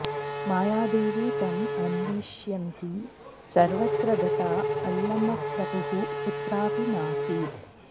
मायादेवी तम् अन्विष्यन्ती सर्वत्र गता अल्लमप्रभुः कुत्रापि नासीत्